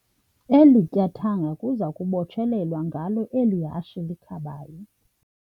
Eli tyathanga kuza kubotshelelwa ngalo eli hashe likhabayo.